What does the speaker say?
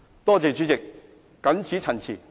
謝謝主席。謹此陳辭。